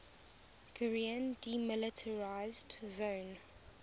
korean demilitarized zone